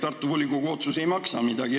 Tartu volikogu otsus ei maksa midagi.